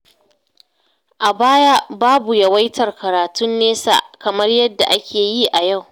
A baya, babu yawaitar karatun nesa kamar yadda ake yi a yau.